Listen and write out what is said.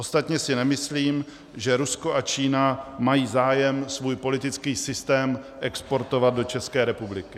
Ostatně si nemyslím, že Rusko a Čína mají zájem svůj politický systém exportovat do České republiky.